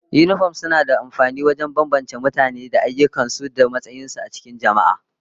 Yinifom suna da amfani wajen bambance mutane da ayyukan su da matsayin su a cikin jama'a